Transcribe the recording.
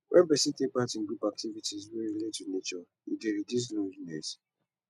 when person take part in group activites wey relate to nature e dey reduce loneliness